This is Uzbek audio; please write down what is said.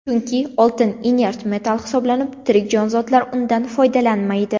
Chunki oltin inert metall hisoblanib, tirik jonzotlar undan foydalanmaydi.